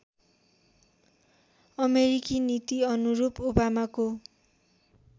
अमेरिकी नीतिअनुरूप ओबामाको